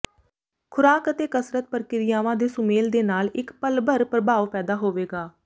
ਖੁਰਾਕ ਅਤੇ ਕਸਰਤ ਪ੍ਰਕਿਰਿਆਵਾਂ ਦੇ ਸੁਮੇਲ ਦੇ ਨਾਲ ਇੱਕ ਪਲ ਭਰ ਪ੍ਰਭਾਵ ਪੈਦਾ ਹੋਵੇਗਾ